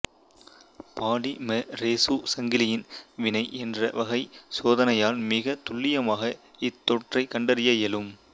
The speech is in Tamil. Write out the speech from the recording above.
பாலிமெரேசு சங்கிலி வினை என்ற வகை சோதனையால் மிகத் துல்லியமாக இத்தொற்றைக் கண்டறிய இயலும்